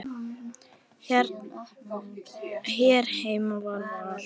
Hér heima með Val.